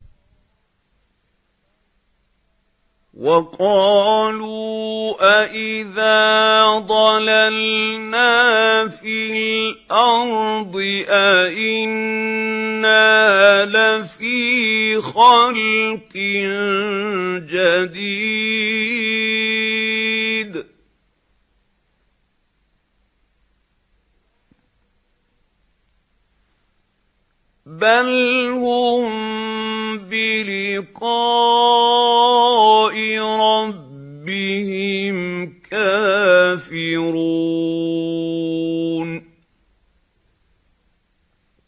وَقَالُوا أَإِذَا ضَلَلْنَا فِي الْأَرْضِ أَإِنَّا لَفِي خَلْقٍ جَدِيدٍ ۚ بَلْ هُم بِلِقَاءِ رَبِّهِمْ كَافِرُونَ